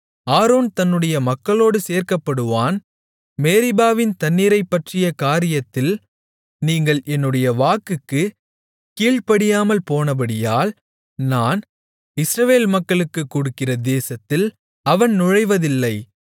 Aaron தன்னுடைய மக்களோடு சேர்க்கப்படுவான் மேரிபாவின் தண்ணீரைப்பற்றிய காரியத்தில் நீங்கள் என்னுடைய வாக்குக்குக் கீழ்ப்படியாமல் போனபடியால் நான் இஸ்ரவேல் மக்களுக்குக் கொடுக்கிற தேசத்தில் அவன் நுழைவதில்லை